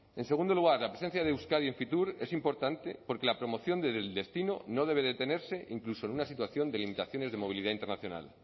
en segundo lugar la presencia de euskadi en fitur es importante porque la promoción del destino no debe detenerse incluso en una situación de limitaciones de movilidad internacional